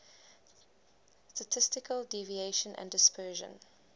statistical deviation and dispersion